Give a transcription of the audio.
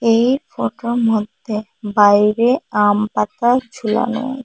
এই ফোটোর মধ্যে বাইরে আমপাতা ঝোলানো।